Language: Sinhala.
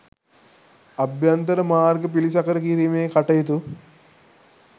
අභ්‍යන්තර මාර්ග පිළිසකර කිරීමේ කටයුතු